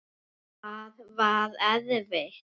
Hvað var erfitt?